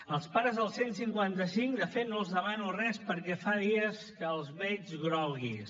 als pares del cent i cinquanta cinc de fet no els demano res perquè fa dies que els veig groguis